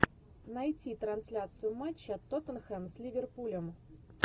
найти трансляцию матча тоттенхэм с ливерпулем